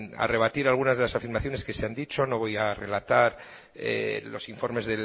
a rebatir algunas de las afirmaciones que se han dicho no voy a relatar los informes